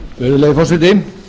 virðulegi forseti